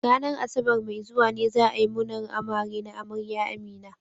Ranar Asabar mai zuwa ne za a yi munar amare na amarya Amina.